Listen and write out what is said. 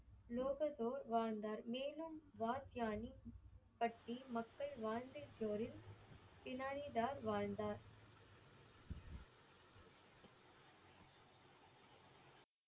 லோகொதோர் வாழ்ந்தார். மேலும் வார்கியாணி பட்டி மக்கள் வாழ்ந்த இடத்தில் பினானிதர் வாழ்ந்தார்.